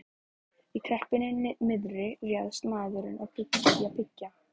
Í kreppunni miðri réðist maðurinn í að byggja.